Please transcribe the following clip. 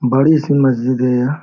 बड़ी सी मस्जिद है यहाँ ।